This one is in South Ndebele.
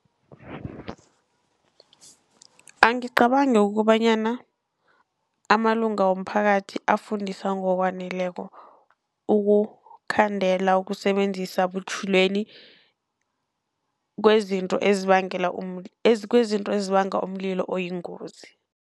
Angicabangi kobanyana amalunga womphakathi afundiswa ngokwaneleko, ukukhandela ukusebenzisa butjhilweni kwezinto ezibangela kwezinto ezibanga umlilo oyingozi.